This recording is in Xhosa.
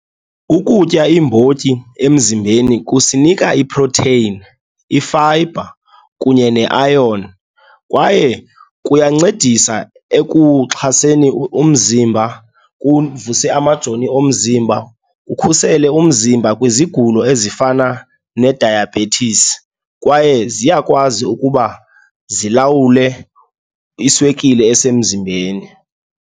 Ukutya iimbotyi emzimbeni kusinika iprotheyini, ifayibha kunye ne-iron kwaye kuyancedisa ekuxhaseni umzimba, kuvuse amajoni omzimba, kukhusele umzimba kwizigulo ezifana ne-diabetes kwaye ziyakwazi ukuba zilawule iswekile esemzimbeni.